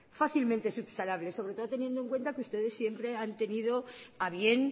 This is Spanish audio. fácilmente subsanable sobre todo teniendo en cuenta que ustedes siempre han tenido a bien